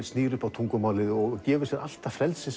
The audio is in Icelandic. snýr upp á tungumálið og gefur sér allt það frelsi